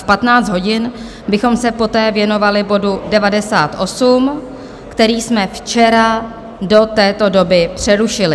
V 15 hodin bychom se poté věnovali bodu 98, který jsme včera do této doby přerušili.